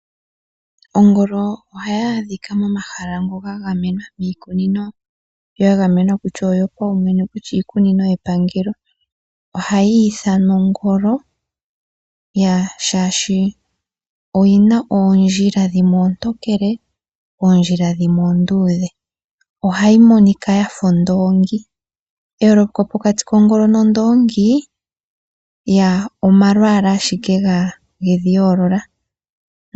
Ongolo ohayi adhika miikunino yiinamwenyo ndjoka yagamenwa ndjoka yopaumwene nenge yepangelo ohayiithanwa ongolo molwa oondjila ndhoka dhili koshipa oondudhe noontokele noyina olupe lwafa lwondoongi neyooloko pokati kongolo nondongi omalwaalala ashike yedhi yoolola.